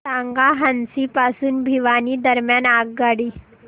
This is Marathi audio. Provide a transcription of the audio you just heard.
सांगा हान्सी पासून भिवानी दरम्यान आगगाडी